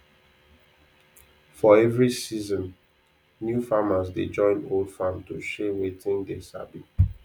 for every season new farmers dey join old farm to share wetin dey sabi